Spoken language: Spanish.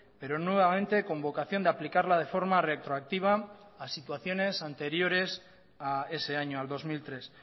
pero nuevamente con vocación de aplicarla de forma retroactiva a situaciones anteriores a ese año al dos mil tres